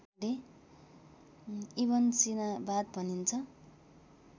इबनसीनावाद भनिन्छ